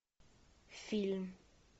фильм